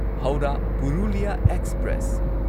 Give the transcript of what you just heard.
Howrah Purulia express